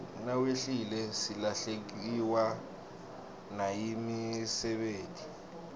nawehlile silahlekewa nayimisebeti